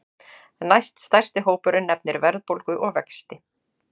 Næststærsti hópurinn nefnir verðbólgu og vexti